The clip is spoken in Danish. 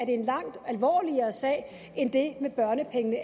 en langt alvorligere sag end det med børnepengene